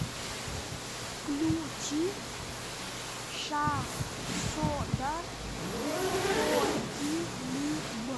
включи шахзода токилиб